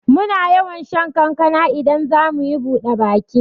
Muna yawan shan kankana idan zamuyi buɗe baki